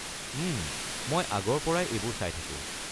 উম, মই আগৰ পৰাই এইবোৰ চাই থাকো।